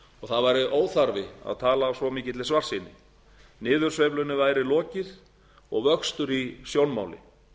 og það væri óþarfi að tala af svo mikilli svartsýni niðursveiflunni væri lokið og vöxtur í sjónmáli